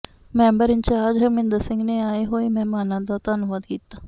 member incharge Harminder Singh ਨੇ ਆਏ ਹੋਏ ਮਹਿਮਾਨਾਂ ਦਾ ਧੰਨਵਾਦ ਕੀਤਾ